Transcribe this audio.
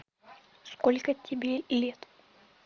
сколько тебе лет